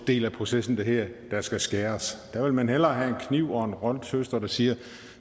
del af processen der hedder der skal skæres der vil man hellere have en kniv og en grønthøster man siger